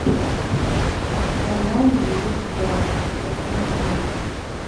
канал звезда посмотреть